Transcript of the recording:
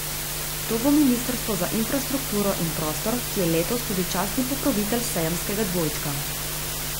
To bo ministrstvo za infrastrukturo in prostor, ki je letos tudi častni pokrovitelj sejemskega dvojčka.